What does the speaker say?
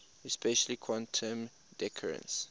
especially quantum decoherence